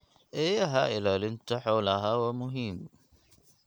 Eeyaha ilaalinta xoolaha waa muhiim.